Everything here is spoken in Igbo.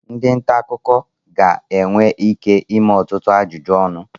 ndị nta akụkọ ga-enwe ike ịme ọtụtụ ajụjụ ọnụ